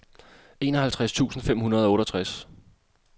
enoghalvtreds tusind fem hundrede og otteogtres